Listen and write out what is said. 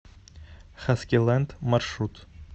хаскилэнд маршрут